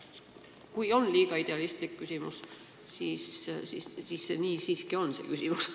Võib-olla on see liiga idealistlik küsimus, aga ma siiski nii küsin.